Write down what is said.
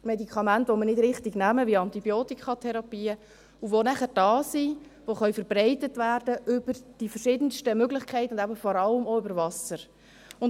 Medikamente, die wir nicht richtig nehmen, wie Antibiotikatherapien, die nachher da sind und die über die verschiedensten Möglichkeiten, und eben vor allem auch über Wasser, verbreitet werden können?